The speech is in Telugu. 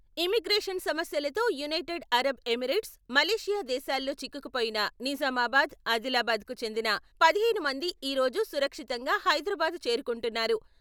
ఇమ్మిగ్రేషన్ సమస్యలతో యునైటెడ్ అరబ్ ఎమిరేట్స్, మలేషియా దేశాల్లో చిక్కుకుపోయిన నిజామాబాద్, ఆదిలాబాద్‌కు చెందిన పదిహేను మంది ఈ రోజు సురక్షితంగా హైదరాబాదు చేరుకుంటున్నారు.